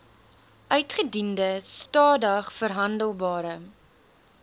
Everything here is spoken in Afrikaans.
uitgediende stadig verhandelbare